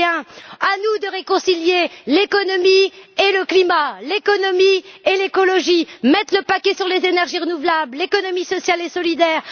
21. À nous de réconcilier l'économie et le climat, l'économie et l'écologie, de mettre le paquet sur les énergies renouvelables, l'économie sociale et solidaire.